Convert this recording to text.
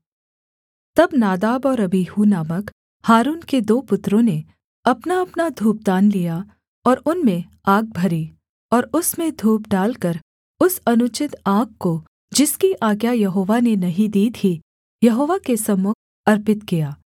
तब नादाब और अबीहू नामक हारून के दो पुत्रों ने अपनाअपना धूपदान लिया और उनमें आग भरी और उसमें धूप डालकर उस अनुचित आग को जिसकी आज्ञा यहोवा ने नहीं दी थी यहोवा के सम्मुख अर्पित किया